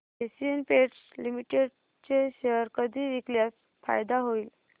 Asian Paints Limited चे share कधी विकल्यास फायदा होईल